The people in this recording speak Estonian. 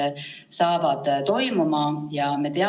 Meie eesmärk ju on, et selleks ajaks oleks kõik eksamitulemused teada.